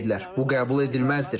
Bu qəbul edilməzdir.